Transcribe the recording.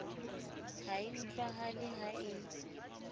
ha e utlwahale ha e